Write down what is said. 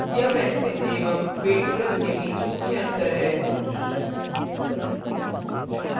यह pencil एवं paint brush के बीच मुख्य अंतर है